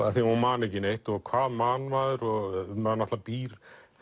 af því hún man ekki neitt hvað man maður og maður býr